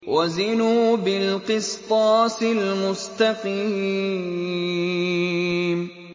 وَزِنُوا بِالْقِسْطَاسِ الْمُسْتَقِيمِ